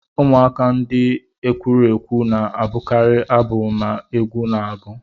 Ụmụaka ndị ekwurekwu na-abụkarị abụ ma egwu na agu